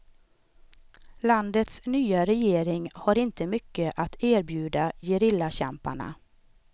Landets nya regering har inte mycket att erbjuda gerillakämparna.